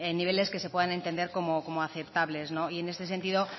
en niveles que se puedan entender como aceptables y en este sentido